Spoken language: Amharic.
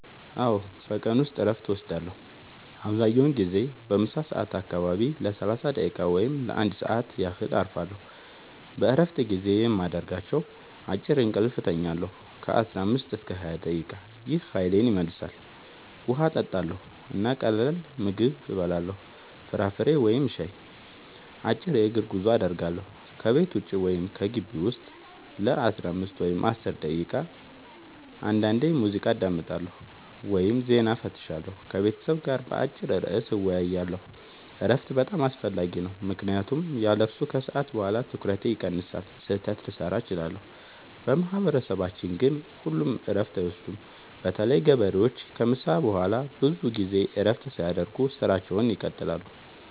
አዎ፣ በቀን ውስጥ እረፍት እወስዳለሁ። አብዛኛውን ጊዜ በምሳ ሰዓት አካባቢ ለ30 ደቂቃ ወይም ለ1 ሰዓት ያህል እረፋለሁ። በእረፍት ጊዜዬ የማደርጋቸው፦ · አጭር እንቅልፍ እተኛለሁ (15-20 ደቂቃ) – ይህ ኃይሌን ይመልሳል። · ውሃ እጠጣለሁ እና ቀላል ምግብ እበላለሁ (ፍራፍሬ ወይም ሻይ)። · አጭር የእግር ጉዞ አደርጋለሁ – ከቤት ውጭ ወይም በግቢው ውስጥ ለ5-10 ደቂቃ። · አንዳንዴ ሙዚቃ አዳምጣለሁ ወይም ዜና እፈትሻለሁ። · ከቤተሰብ ጋር በአጭር ርዕስ እወያያለሁ። እረፍት በጣም አስፈላጊ ነው ምክንያቱም ያለሱ ከሰዓት በኋላ ትኩረቴ ይቀንሳል፣ ስህተት ልሠራ እችላለሁ። በማህበረሰባችን ግን ሁሉም እረፍት አይወስዱም – በተለይ ገበሬዎች ከምሳ በኋላ ብዙ ጊዜ እረፍት ሳያደርጉ ሥራቸውን ይቀጥላሉ።